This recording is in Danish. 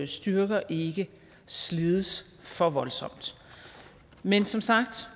styrker ikke slides for voldsomt men som sagt